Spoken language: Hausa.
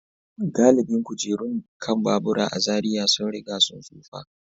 Galibin kujerun kan babura a Zariya sun riga sun tsufa.